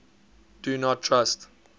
do not trust